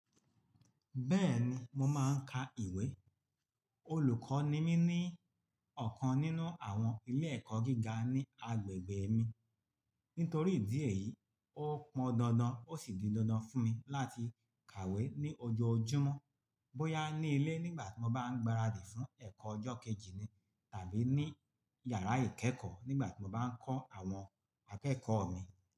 Bẹ́ẹ̀ni, mo máa ń ka ìwé. Olùkọ́ ni mí ní ọ̀kan nínú àwọn ilé ẹ̀kọ́ gíga ní agbègbè mi. Nítorí ìdí èyí, ó pọn dandan ó sì di dandan fún mi láti kàwé ní ojoojúmọ́, bóyá ní ilé nígbà tí mo bá ń gbaradì fún ẹ̀kọ́ ọjọ́ kejì ni tàbí ní yàrá ìkẹ́kọ̀ọ́ nígbà tí mo bá ń kọ́ àwọn akẹ́kọ̀ọ́ mi.